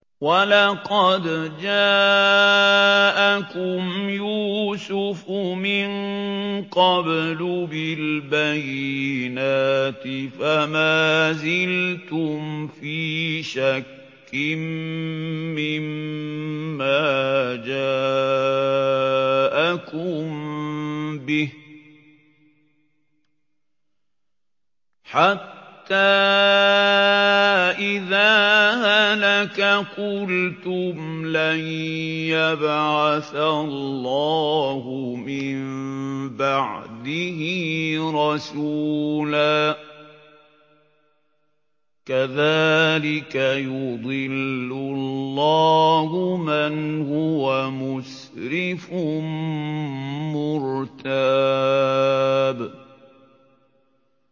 وَلَقَدْ جَاءَكُمْ يُوسُفُ مِن قَبْلُ بِالْبَيِّنَاتِ فَمَا زِلْتُمْ فِي شَكٍّ مِّمَّا جَاءَكُم بِهِ ۖ حَتَّىٰ إِذَا هَلَكَ قُلْتُمْ لَن يَبْعَثَ اللَّهُ مِن بَعْدِهِ رَسُولًا ۚ كَذَٰلِكَ يُضِلُّ اللَّهُ مَنْ هُوَ مُسْرِفٌ مُّرْتَابٌ